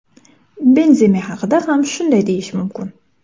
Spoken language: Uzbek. Benzema haqida ham shunday deyish mumkin.